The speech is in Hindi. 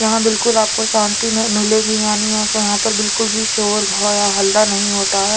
यहा आपको बिलकुल सन्ति में मिलेगी यानी यहा के बिलकुल शोर और हल्ला नही होता है।